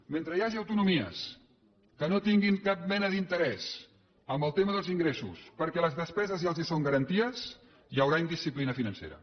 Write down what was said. mentre hi hagi autonomies que no tinguin cap mena d’interès en el tema dels ingressos perquè les despeses ja els són garantides hi haurà indisciplina financera